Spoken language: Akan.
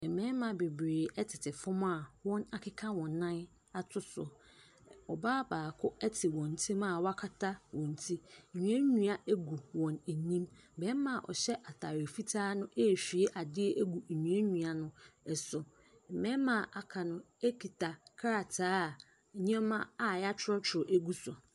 Mmarima bebree tete fam a wɔakeka wɔn nan ato so. Ɔbaa baako te wɔn ntam a wakata wɔn ti. Nnuannua gu wɔn anim. Barima a ɔhyɛ atadeɛ fitaa no rehwie adeɛ agu nnuannua no so. Mmarima a wɔaka no kita krataa a nneɛma a wɔatwerɛtwerɛ gu so.